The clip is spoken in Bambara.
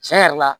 Tiɲɛ yɛrɛ la